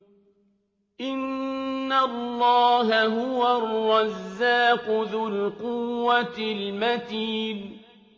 إِنَّ اللَّهَ هُوَ الرَّزَّاقُ ذُو الْقُوَّةِ الْمَتِينُ